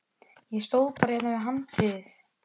Ég stóð bara hérna við handriðið.